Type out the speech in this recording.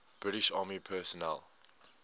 british army personnel